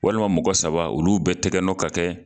Walima mɔgɔ saba olu bɛɛ tɛgɛnɔ ka kɛ